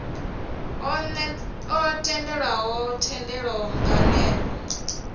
o netshedzwaho thendelo nga ner